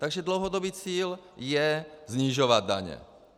Takže dlouhodobý cíl je snižovat daně.